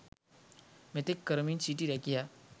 මෙතෙක් කරමින් සිටි රැකියා